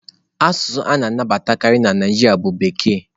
Asụsụ a na-anabatakarị na Naịjirịa bụ Bekee.